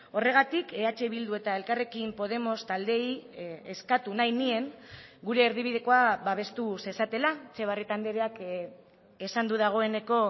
horregatik eh bildu eta elkarrekin podemos taldeei eskatu nahi nien gure erdibidekoa babestu zezatela etxebarrieta andreak esan du dagoeneko